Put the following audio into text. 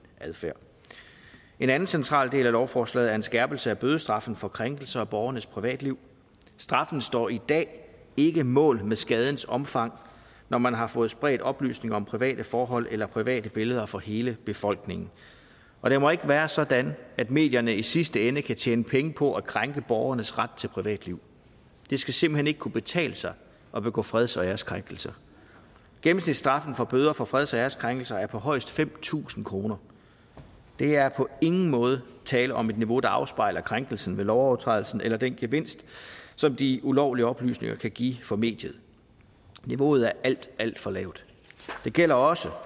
adfærd en anden central del af lovforslaget er en skærpelse af bødestraffen for krænkelser af borgernes privatliv straffen står i dag ikke mål med skadens omfang når man har fået spredt oplysninger om private forhold eller private billeder for hele befolkningen og det må ikke være sådan at medierne i sidste ende kan tjene penge på at krænke borgernes ret til privatliv det skal simpelt hen ikke kunne betale sig at begå freds og æreskrænkelser gennemsnitsstraffen for bøder for freds og æreskrænkelser er på højst fem tusind kroner der er på ingen måde tale om et niveau der afspejler krænkelsen ved lovovertrædelsen eller den gevinst som de ulovlige oplysninger kan give for mediet niveauet er alt alt for lavt det gælder også